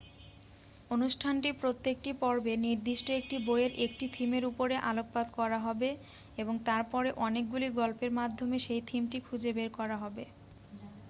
অনুষ্ঠানটির প্রত্যেকটি পর্বে নির্দিষ্ট একটি বইয়ের একটি থিমের উপরে আলোকপাত করা হবে এবং তারপরে অনেকগুলি গল্পের মাধ্যমে সেই থিমটি খুঁজে বের করা হবে